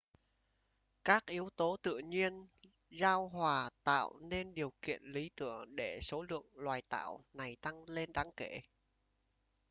các yếu tố tự nhiên giao hòa tạo nên điều kiện lý tưởng để số lượng loài tảo này tăng lên đáng kể